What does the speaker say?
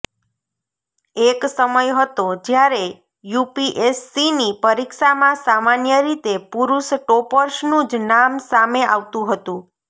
એક સમય હતો જ્યારે યુપીએસસીની પરીક્ષામાં સામાન્ય રીતે પુરૂષ ટોપર્સનું જ નામ સામે આવતું હતું